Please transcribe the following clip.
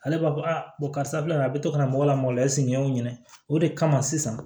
Ale b'a fɔ a karisa filɛ nin ye a be to ka na mɔgɔ la mɔgɔ la esigi yaw ɲini o de kama sisan